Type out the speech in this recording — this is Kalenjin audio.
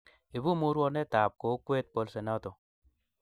ibu murwonetab kokwet bolsenoto